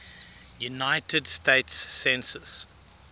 united states census